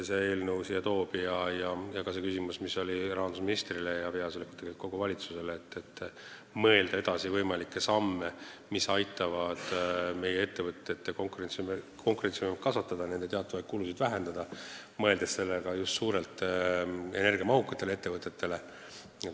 See küsimus oli mõeldud rahandusministrile ja tegelikult kogu valitsusele, et tuleb mõelda võimalikele sammudele, mis aitavad meie ettevõtete konkurentsivõimet kasvatada ja nende teatavaid kulusid vähendada, mõeldes just energiamahukatele ettevõtetele.